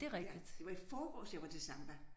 Ja det var i forgårs jeg var til samba